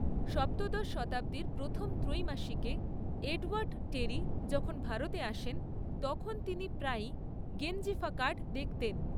সপ্তদশ শতাব্দীর প্রথম ত্রৈমাসিকে এডওয়ার্ড টেরি যখন ভারতে আসেন, তখন তিনি প্রায়ই গেঞ্জিফা কার্ড দেখতেন।